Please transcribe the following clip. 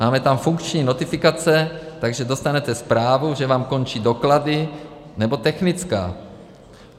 Máme tam funkční notifikace, takže dostanete zprávu, že vám končí doklady nebo technická.